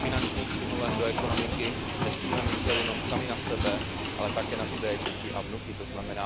při finančních stimulech do ekonomiky, nesmíme myslet jenom sami na sebe, ale také na své děti a vnuky, tzn.